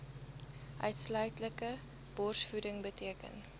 uitsluitlike borsvoeding beteken